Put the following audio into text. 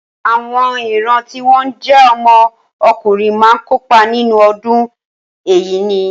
Àwọn ìran tí wọ́n jẹ́ ọmọ ọkùnrin máa kópa nínú ọdún Ẹ̀yíní.